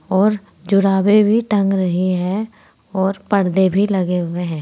और जुराबे भी टंग रहे हैं और पर्दे भी लगे हुए हैं।